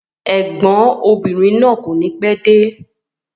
Ẹ̀gbọ́n ọmọbìnrin náà kọ́ni pẹ́ẹ́de